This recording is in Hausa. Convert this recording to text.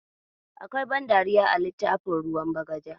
Akwai ban dariya a littafin ruwan bagaja.